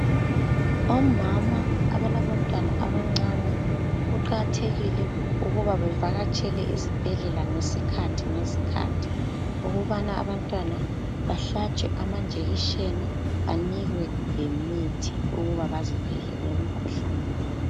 Omama abalabantwana abancane, kuqakathekile ukuba bavakatshele esibhedlela ngesikhathi ngesikhathi, ukubana abantwana bahlatshwe amanjekisheni, banikwe lemithi ukuba bazivikele emikhuhlaneni.